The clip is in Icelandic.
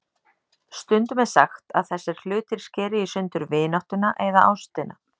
Stundum er sagt að þessir hlutir skeri í sundur vináttuna eða ástina.